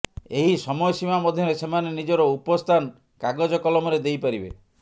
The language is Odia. ଏହି ସମୟସୀମା ମଧ୍ୟରେ ସେମାନେ ନିଜର ଉପସ୍ଥାନ କାଗଜ କଲମରେ ଦେଇପାରିବେ